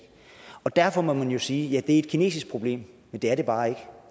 og derfor må man jo sige at det er et kinesisk problem men det er det bare ikke